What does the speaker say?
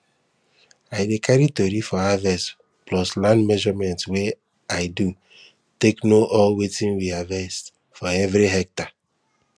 i dey carry tori of harvest plus land measurement wey i do take know all wetin we harvest for everi hectare